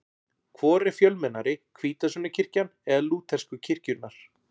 Hvor er fjölmennari, hvítasunnukirkjan eða lútersku kirkjurnar?